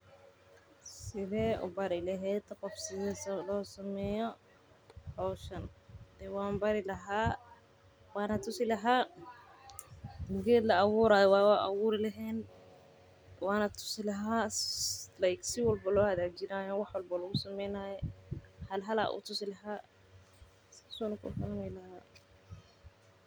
Sidee ubari lehed qoof sida losameyo howshan, dee wanbari lahay wana tusi laha geed la uburay waye wan aburi lehen wana tusi laha like si walbo oo lohagajinay waxwalbo lagu sameynayo halhal ayan utusi lahay.